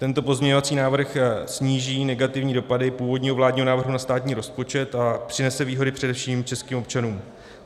Tento pozměňovací návrh sníží negativní dopady původního vládního návrhu na státní rozpočet a přinese výhody především českým občanům.